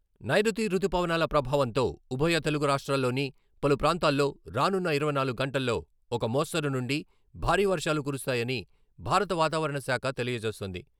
నైరుతి రుతు పవనాల ప్రభావంతో ఉభయ తెలుగు రాష్ట్రాల్లోని పలు ప్రాంతాల్లో రానున్న ఇరవై నాలుగు గంటల్లో ఒక మోస్తరు నుండి భారీ వర్షాలు కురుస్తాయని భారత వాతావరణ శాఖ తెలియజేస్తోంది.